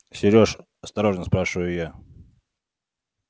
серёж осторожно спрашиваю я